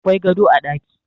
Akwai gado a ɗaki